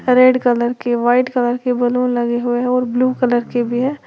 Red colour की white colour की balloon लगे हुए हैं और ब्लू कलर भी हैं।